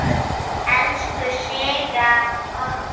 Elsku Sigga okkar.